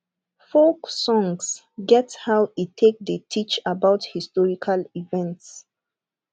folk songs get how e take dey teach about historical events